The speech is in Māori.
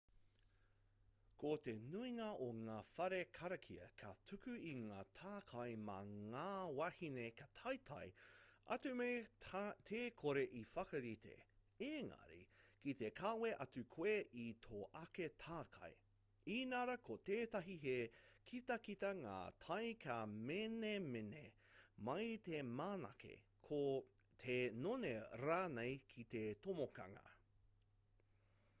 ko te nuinga o ngā whare karakia ka tuku i ngā takai mā ngā wāhine ka taetae atu me te kore i whakarite engari ki te kawe atu koe i tō ake takai inarā ko tētahi he kitakita ngā tae ka menemene mai te manake te none rānei ki te tomokanga